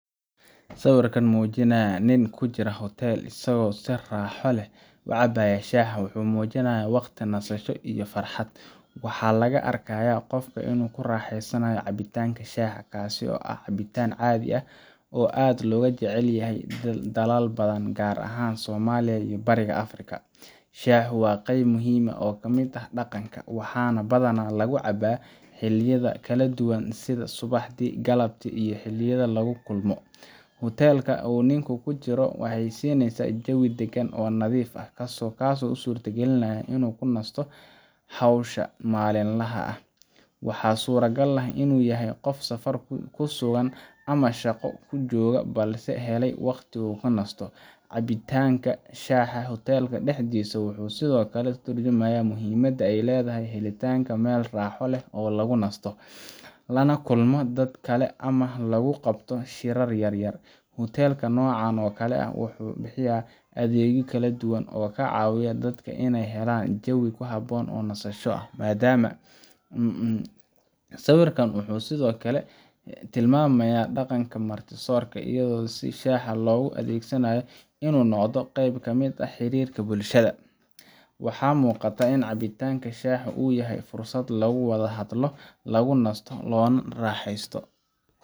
Sawirka muujinaya nin ku jira hotel isagoo si raaxo leh u cabaya shaah wuxuu muujinayaa waqti nasasho iyo farxad. Waxaa la arkayaa qofka oo ku raaxaysanaya cabitaanka shaaha, kaasoo ah cabitaan caadi ah oo aad looga jecel yahay dalal badan, gaar ahaan Soomaaliya iyo Bariga Afrika. Shaahu waa qayb muhiim ah oo ka mid ah dhaqanka, waxaana badanaa lagu cabaa xilliyada kala duwan sida subaxdii, galabtii, iyo xilliyada lagu kulmo. Hotel-ka uu ninku ku jiro ayaa siinaya jawi deggan oo nadiif ah, kaasoo u suurtagelinaya inuu ka nasto hawsha maalinlaha ah. Waxaa suuragal ah inuu yahay qof safar ku sugan ama shaqo ku joogga, balse helay waqti uu ku nasto. Cabitaanka shaaha hotelka dhexdiisa wuxuu sidoo kale ka tarjumayaa muhiimadda ay leedahay helitaanka meel raaxo leh oo lagu nasto, lana la kulmo dad kale ama lagu qabto shirar yar-yar. Hotel-ka noocan oo kale ah wuxuu bixiyaa adeegyo kala duwan oo ka caawiya dadka inay helaan jawi ku habboon nasashada iyo madaama. Sawirkan wuxuu sidoo kale tilmaamayaa dhaqanka marti-soorka iyo sida shaaha loogu adeegsado inuu noqdo qayb ka mid ah xiriirka bulshada. Waxaa muuqata in cabitaanka shaahu uu yahay fursad lagu wada hadlo, lagu nasto, loona raaxeysto.